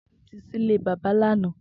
Tobi ti ṣilé bàbà làná